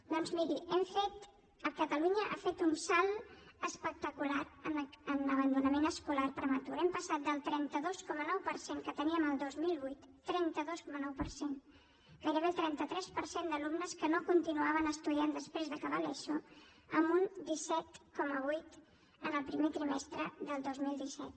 doncs miri catalunya ha fet un salt espectacular en abandonament escolar prematur hem passat del trenta dos coma nou per cent que teníem el dos mil vuit trenta dos coma nou per cent gairebé el trenta tres per cent d’alumnes que no continuaven estudiant després d’acabar l’eso a un disset coma vuit el primer trimestre del dos mil disset